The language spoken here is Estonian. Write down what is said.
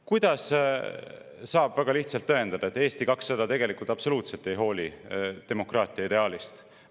Kuidas saab väga lihtsalt tõendada, et Eesti 200 tegelikult absoluutselt ei hooli demokraatia ideaalist?